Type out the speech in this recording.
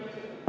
Miks?